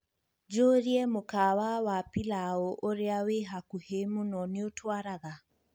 njūrie mukawa wa pilau ūria wī hakuhī mūno nīutwaraga